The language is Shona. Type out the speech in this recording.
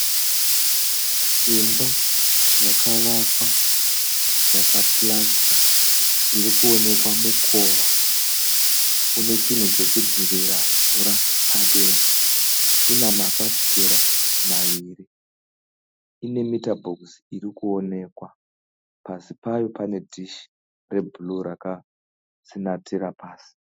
Imba yakavakwa yakapurasitiwa irikuonekwa mukova une chinhu chekudzivira mvura padenga. Ine mafafitera maviri. Ine mitabhokisi irikuonekwa. Pasi payo pane dhishi rebhuruu rakatsinatira pasi.